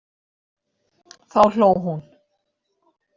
Þá hló hún.